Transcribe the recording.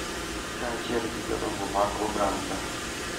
Kaachiel gi jodongo mag oganda.